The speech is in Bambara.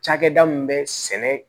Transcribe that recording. Cakɛda min bɛ sɛnɛ